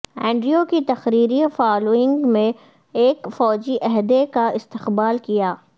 Andrew کی تقرری following بھی ایک فوجی عہدے کا استقبال کیا